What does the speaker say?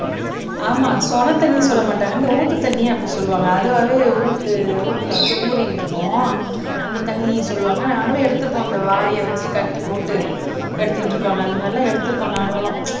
ஆமா சுனை தண்ணின்னு சொல்ல மாட்டாங்க இந்த ஊத்து தண்ணி அப்படி சொல்லுவாங்க அதுவாவே ஊத்து ஊத்துல வந்து ஊறிக்கிட்டு இருக்கும் அந்தத் தண்ணின்னு சொல்லுவாங்க நாங்களும் எடுத்துருக்கோம் அந்த வாளியை வச்சு கட்டி போட்டு எடுத்துட்டு இருப்பாங்க அந்த மாதிரி எல்லாம் எடுத்து இருக்கோம் நாங்களும்